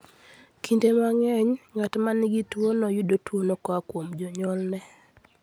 Kinde mang'eny, ng'at ma nigi tuwono yudo tuwono koa kuom janyuolne.